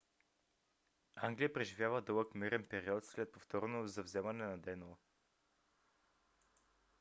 англия преживява дълъг мирен период след повторното завземане на денло